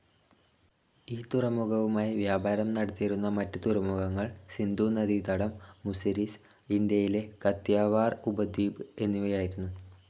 ഈ തുറമുഖവുമായി വ്യാപാരം നടത്തിയിരുന്ന മറ്റ് തുറമുഖങ്ങൾ സിന്ധൂ നദീതടം, മുസിരിസ്, ഇന്ത്യയിലെ കത്തിയവാർ ഉപദ്വീപ്, എന്നിവയായിരുന്നു.